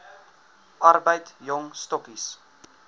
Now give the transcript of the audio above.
arbeid jong stokkies